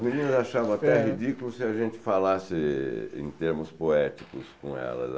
As meninas achavam até ridículo se a gente falasse em termos poéticos com elas.